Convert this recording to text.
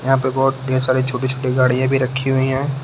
यहां पे बहुत ढेर सारी छोटी छोटी गाड़ियां भी रखी हुई है।